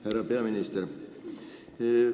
Härra peaminister!